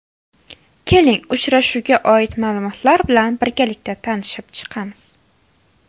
Keling uchrashuvga oid ma’lumotlar bilan birgalikda tanishib chiqamiz.